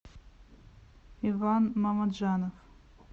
иван мамаджанов